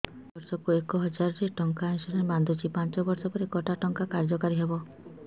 ମୁ ବର୍ଷ କୁ ଏକ ହଜାରେ ଟଙ୍କା ଇନ୍ସୁରେନ୍ସ ବାନ୍ଧୁଛି ପାଞ୍ଚ ବର୍ଷ ପରେ କଟା ଟଙ୍କା କାର୍ଯ୍ୟ କାରି ହେବ